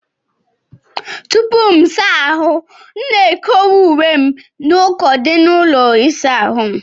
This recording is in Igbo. Tupuu M saa ahụ, M na-ekowe uwe m n'uko dị n'ụlọ ịsa ahụ m.